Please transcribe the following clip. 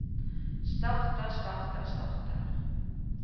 starter starter starter